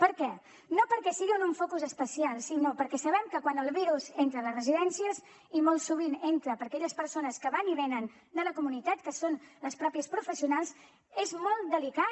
per què no perquè siguin un focus especial sinó perquè sabem que quan el virus entra a les residències i molt sovint entra per aquelles persones que van i venen de la comunitat que són les professionals mateixes és molt delicat